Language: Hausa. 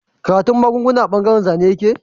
Karatun magunguna a bangaren Zane yake